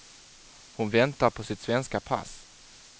Hon väntar på sitt svenska pass.